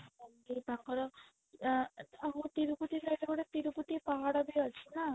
ତାଙ୍କର ଅ ତିରୁପତି side ରେ ଗୋଟେ ତିରୁପତି ପାହାଡ ବି ଅଛି ନା